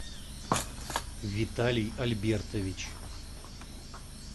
виталий альбертович